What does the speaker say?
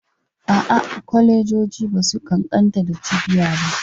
A'a, kwalejoji ba su ƙanƙanta da cibiya ba.